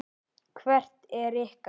Hvert er ykkar?